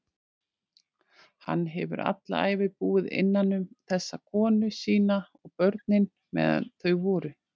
Hann hefur alla ævi búið innanum þessa konu sína- og börnin, meðan þau voru.